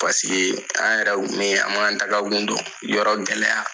Paseke an yɛrɛ kun b'i an b'an taaga kun don, yɔrɔ gɛlɛya.